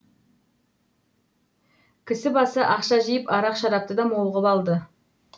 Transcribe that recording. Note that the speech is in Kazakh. кісі басы ақша жиып арақ шарапты да мол ғып алды